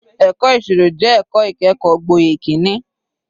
Ẹ̀kọ́ ìṣirò jẹ́ ẹ̀kọ́ ìkẹ́kọ̀ọ́ gboyè kìíní.